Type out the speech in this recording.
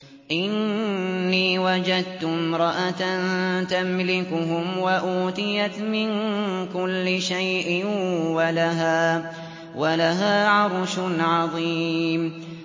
إِنِّي وَجَدتُّ امْرَأَةً تَمْلِكُهُمْ وَأُوتِيَتْ مِن كُلِّ شَيْءٍ وَلَهَا عَرْشٌ عَظِيمٌ